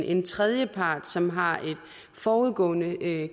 en tredjepart som har et forudgående